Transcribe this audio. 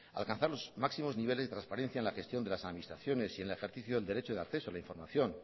alcanzar los máximos niveles de transparencia en la gestión de las administraciones y en el ejercicio del derecho de acceso a la información